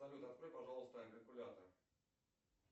салют открой пожалуйста калькулятор